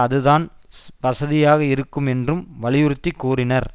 அதுதான் வசதியாக இருக்கும் என்றும் வலியுறுத்தி கூறினர்